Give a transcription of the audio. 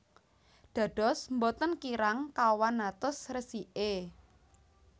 Dados boten kirang kawan atus resiké